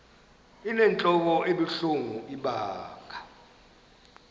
inentlok ebuhlungu ibanga